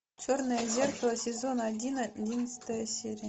черное зеркало сезон один одиннадцатая серия